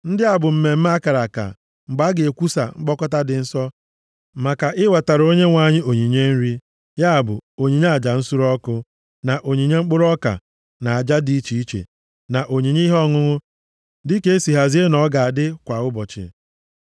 (“ ‘Ndị a bụ mmemme a kara aka, mgbe a ga-ekwusa mkpọkọta dị nsọ maka iwetara Onyenwe anyị onyinye nri, ya bụ, onyinye aja nsure ọkụ, na onyinye mkpụrụ ọka, na aja dị iche iche, na onyinye ihe ọṅụṅụ dịka e sị hazie na ọ ga na-adị kwa ụbọchị.